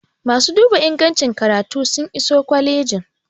masu duba ingancin karatu sun iso kwalijin